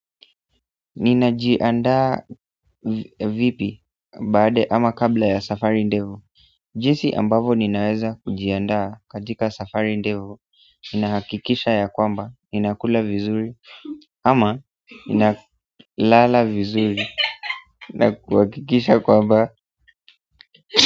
Ninajiandaa vipi baada ama kabla ya safari ndefu Jinsi ambavyo ninaweza kujiandaa katika safari ndefu ninahakikisha ya kwamba ninakula vizuri ama ninalala vizuri. Nakuhakikisha kwamba.